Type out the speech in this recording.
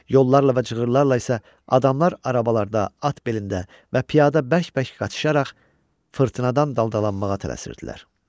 Yollarla və cığırlarla isə adamlar arabalarda, at belində və piyada bərk-bərk qaçışaraq fırtınadan daldalanmağa tələsirdilər.